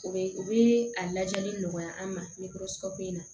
U bɛ u bɛ a lajɛli nɔgɔya an ma in na